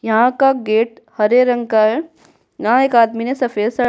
यहाँ का गेट हरे रंग का है यहाँ एक आदमी ने सफेद शल् --